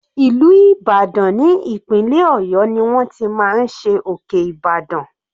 Ìlú Ìbàdàn ní ìpínlẹ̀ ọ̀yọ́ ni wọ́n ti máa ń ṣe òkè Ibadan.